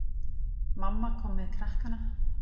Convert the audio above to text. Mamma kom með krakkana.